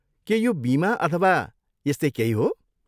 के यो बिमा अथवा यस्तै केही हो?